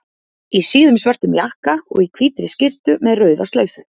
Í síðum, svörtum jakka og í hvítri skyrtu með rauða slaufu.